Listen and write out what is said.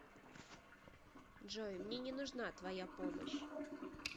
джой мне не нужна твоя помощь